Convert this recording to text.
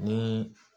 Ni